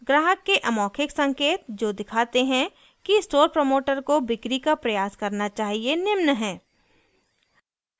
ग्राहक के अमौखिक संकेत जो दिखाते हैं कि स्टोर प्रमोटर को बिक्री सेल का प्रयास करना चाहिए निम्न हैं :